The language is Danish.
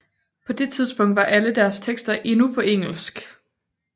På det tidspunkt var alle deres tekster endnu på engelsk